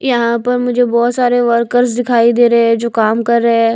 यहां पर मुझे बहुत सारे वर्कर्स दिखाई दे रहे हैं जो काम कर रहे हैं।